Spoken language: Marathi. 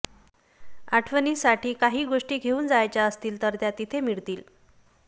आठवणीसाठी काही गोष्टी घेऊन जायच्या असतील तर त्या तिथे मिळतील